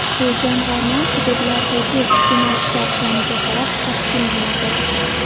Bu jamg‘arma hududlardagi iste’molchilar soniga qarab taqsimlanadi.